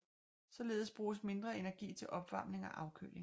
Således bruges mindre energi til opvarmning og afkøling